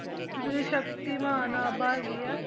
ਜਿਹੜੀ ਸ਼ਕਤੀਮਾਨ ਆਭਾ ਹੈਗੀ ਹੈ